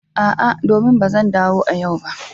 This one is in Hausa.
A'a domin ba zan dawo a yau ba.